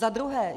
Za druhé.